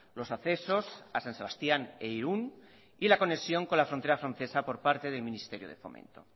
los accesos a san sebastián e irún y la conexión con la frontera francesa por parte del ministerio de fomento